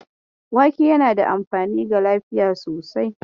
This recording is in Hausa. Wake yana da amfani ga lafiya sosai.